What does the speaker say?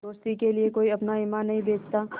दोस्ती के लिए कोई अपना ईमान नहीं बेचता